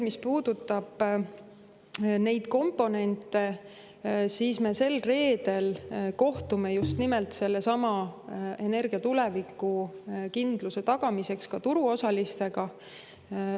Mis puudutab neid komponente, siis me sel reedel kohtume just nimelt energia tulevikukindluse tagamiseks ka turuosalistega.